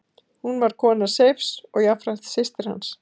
Hún var kona Seifs og jafnframt systir hans.